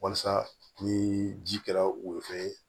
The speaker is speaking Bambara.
Walasa ni ji kɛra woro ye